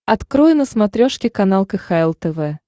открой на смотрешке канал кхл тв